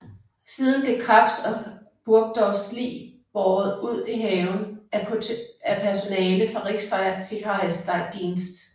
Siden blev Krebs og Burgdorfs lig båret ud i haven af personale fra Reichssicherheitsdienst